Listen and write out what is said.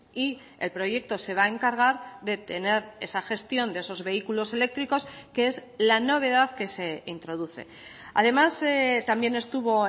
y el proyecto se va a encargar de tener esa gestión de esos vehículos eléctricos que es la novedad que se introduce además también estuvo